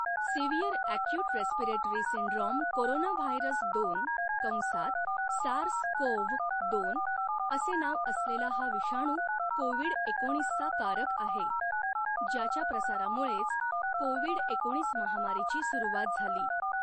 Severe acute respiratory syndrome coronavirus दोन कंसात SARS CoV दोन असे नाव असलेला हा विषाणू कोविड एकोणीसचा कारक आहे, ज्याच्या प्रसारामुळेच कोविड एकोणीस महामारीची सुरुवात झाली.